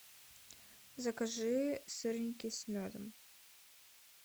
закажи сырники с медом